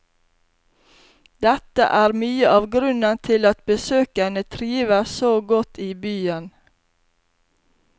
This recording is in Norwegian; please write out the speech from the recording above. Dette er mye av grunnen til at besøkende trives så godt i byen.